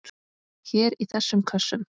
Hér í þessum kössum!